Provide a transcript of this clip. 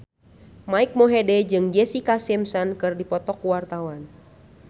Mike Mohede jeung Jessica Simpson keur dipoto ku wartawan